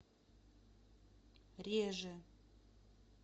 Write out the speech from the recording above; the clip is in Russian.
реже